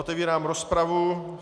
Otevírám rozpravu.